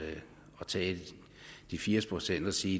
tage de firs procent og sige